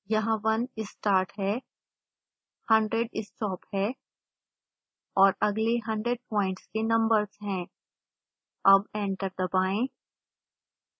यहाँ 1 start है 100 stop है और अगले 100 प्वाइंट्स के नंबर्स है अब एंटर दबाएं